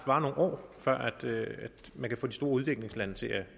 varer nogle år før man kan få de store udviklingslande til at